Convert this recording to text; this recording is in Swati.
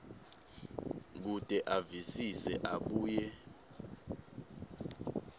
kute avisise abuye